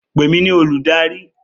Pè mí ní olùdarí!